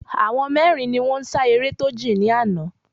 Àwọn mérin ni wón n sa eré tó jìn ní àná